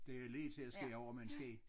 Det jo lige til at skære over med en ske